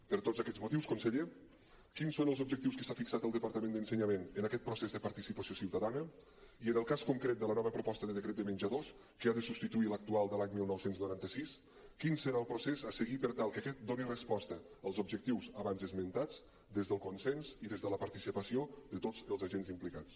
per tots aquests motius conseller quins són els objectius que s’ha fixat el departament d’ensenyament en aquest procés de participació ciutadana i en el cas concret de la nova proposta de decret de menjadors que ha de substituir l’actual de l’any dinou noranta sis quin serà el procés a seguir per tal que aquest doni resposta als objectius abans esmentats des del consens i des de la participació de tots els agents implicats